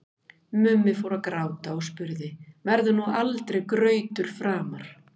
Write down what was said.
Mummi fór að gráta og spurði: Verður nú aldrei grautur framar?